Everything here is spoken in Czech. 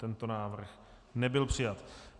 Tento návrh nebyl přijat.